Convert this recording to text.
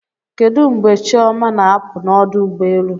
Kedu mgbe Chioma na-apụ n'ọdụ ụgbọelu?